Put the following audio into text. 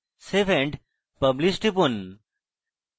save and publish টিপুন